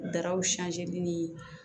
Daraw ni